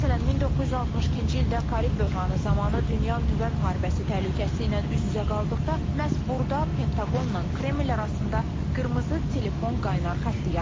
Məsələn, 1962-ci ildə Karib böhranı zamanı dünya nüvə müharibəsi təhlükəsi ilə üz-üzə qaldıqda, məhz burada Pentaqonla Kreml arasında qırmızı telefon qaynar xətti yaradılıb.